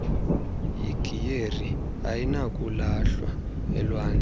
igiyeri ayinakulahlwa elwandle